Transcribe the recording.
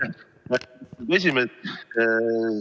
Lugupeetud esimees!